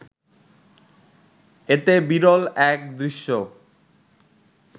এতে বিরল এক দৃশ্য